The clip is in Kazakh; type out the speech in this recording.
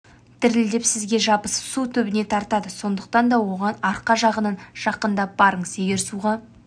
дірілдеп сізге жабысып су түбіне тартады сондықтан да оған арқа жағынан жақындап барыңыз егер суға